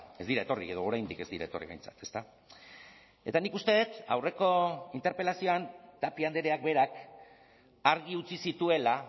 ez dira etorri edo oraindik ez dira etorri behintzat ezta eta nik uste dut aurreko interpelazioan tapia andreak berak argi utzi zituela